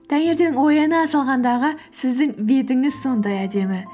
таңертең ояна салғандағы сіздің бетіңіз сондай әдемі